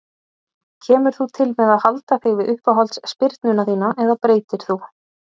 Kemur þú til með að halda þig við uppáhalds spyrnuna þína eða breytir þú?